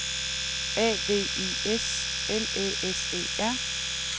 A V I S L Æ S E R